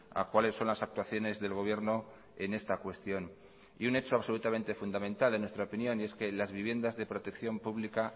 a cuáles son las actuaciones del gobierno en esta cuestión y un hecho absolutamente fundamental en nuestra opinión y es que las viviendas de protección pública